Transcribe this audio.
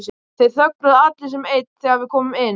Þeir þögnuðu allir sem einn þegar við komum inn.